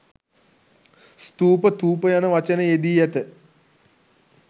ස්ථූප, ථූප යන වචන යෙදී ඇත.